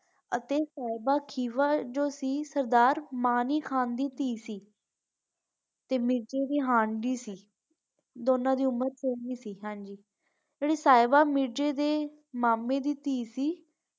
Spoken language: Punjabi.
ਅਤੇ ਸਾਹਿਬਾ ਜੋ ਸੀ ਵੋ ਸਰਦਾਰ ਮਾਨੀ ਖਾਨ ਦਧੀ ਸੀ ਤੇ ਮਿਰਜ਼ੇ ਦੇ ਹਾਣ ਦੀ ਸੀ ਦੋਨਾਂ ਦੀ ਉਮਰ ਸੇਮ ਹੀ ਸੀ ਤੇ ਸਾਹਿਬਾ ਮਿਰਜ਼ੇ ਦੇ ਮਾਮੇ ਦੀ ਧੀ ਸੀ।